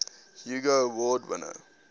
hugo award winner